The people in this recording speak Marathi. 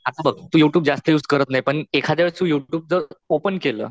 आता बघ तू यु ट्यूब जास्त युज करत नाही पण एखाद्यावेळी तू यु ट्यूब जर ओपन केलं